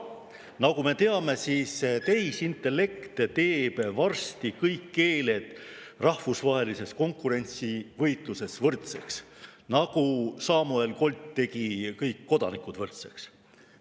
Nagu me teame, teeb tehisintellekt varsti kõik keeled rahvusvahelises konkurentsivõitluses võrdseks, nagu Samuel Colt tegi kõik kodanikud võrdseks.